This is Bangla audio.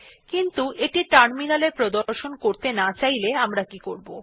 কিন্তু এটি টার্মিনালে প্রদর্শন করতে না চাইলে আমরা কি করবো160